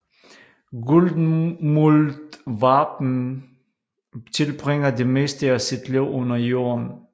Guldmuldvarpen tilbringer det meste af sit liv under jorden